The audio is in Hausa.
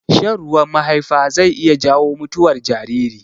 Shan ruwan mahaifa zai iya jawo mutuwar jariri.